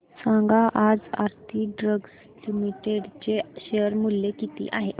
सांगा आज Aarti drugs limited चे शेअर मूल्य किती आहे